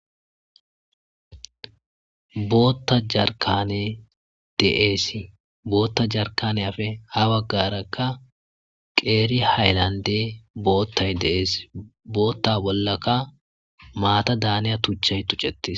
bootta jarkaney de'eesi bootta jarkanefe ha baggarakka qeeri hayllande boottay de'ess bootta bollaka maata daaniya tuchay tuccettis